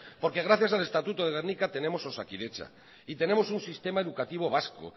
porque gracias al estatuto de gernika tenemos osakidetza y tenemos un sistema educativo vasco